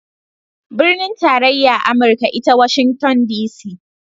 Binin tarayya amurka ita Washington DC